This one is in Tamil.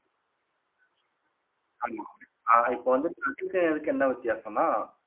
ஆமா அஹ் இப்போ வந்து என்ன வித்தியாசம்னா